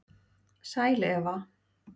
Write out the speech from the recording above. Sæl Eva